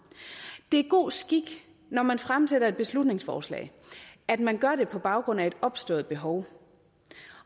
det er god skik når man fremsætter et beslutningsforslag at man gør det på baggrund af et opstået behov